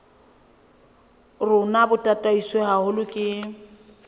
rona bo tataiswe haholo ke